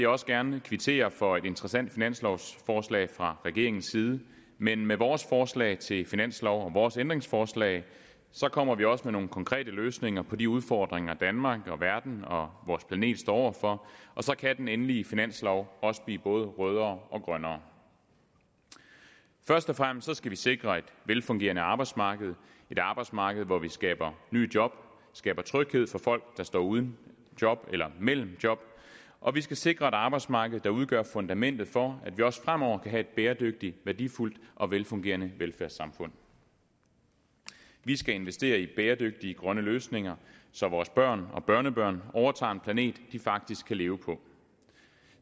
også gerne kvittere for et interessant finanslovsforslag fra regeringens side men med vores forslag til finanslov og vores ændringsforslag kommer vi også med nogle konkrete løsninger på de udfordringer danmark verden og vores planet står over for og så kan den endelige finanslov også blive både rødere og grønnere først og fremmest skal vi sikre et velfungerende arbejdsmarked et arbejdsmarked hvor vi skaber nye job skaber tryghed for folk der står uden job eller mellem job og vi skal sikre et arbejdsmarked der udgør fundamentet for at vi også fremover kan have et bæredygtigt værdifuldt og velfungerende velfærdssamfund vi skal investere i bæredygtige grønne løsninger så vores børn og børnebørn overtager en planet de faktisk kan leve på